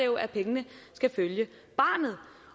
jo at pengene skal følge barnet